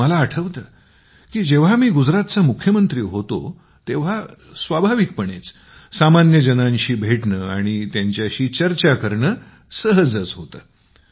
मला आठवतं की जेव्हा मी गुजरातचा मुख्यमंत्री होतो तेव्हा स्वाभाविकपणेच सामान्य जनांशी भेटणं आणि त्यांच्याशी चर्चा करणं होतच होतं